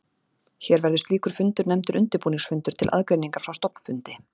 Hér verður slíkur fundur nefndur undirbúningsfundur til aðgreiningar frá stofnfundi.